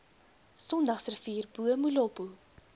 sondagsrivier bo molopo